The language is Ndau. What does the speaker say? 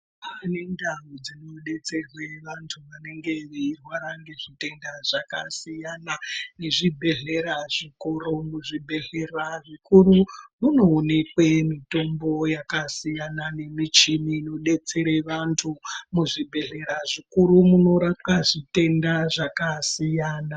Kwaane nendau dzinodetserwe vantu vanenga veirwara nezvitenda zvakasiyana nezvibhedhlera zvikuru. Muzvibhedhlera zvikuru munoonekwe mitombo yakasiyana nemichini inodetsere vantu. Muzvibhedhlera zvikuru munorapwa zvitenda zvakasiyana.